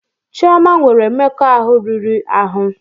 Chioma nwere mmekọahụ riri ahụ.